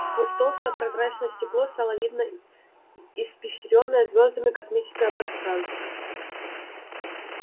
сквозь толстое прозрачное стекло стало видно испещрённое звёздами космическое пространство